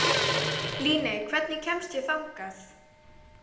Líney, hvernig kemst ég þangað?